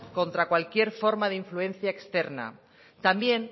contra cualquier forma de influencia externa también